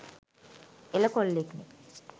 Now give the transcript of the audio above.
එල කොල්ලෙක්නෙ